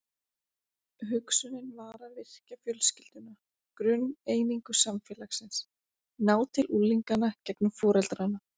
Hugsunin var að virkja fjölskylduna, grunneiningu samfélagsins, ná til unglinganna gegnum foreldrana.